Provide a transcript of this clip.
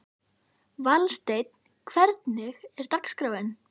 Valsteinn, hvernig er dagskráin?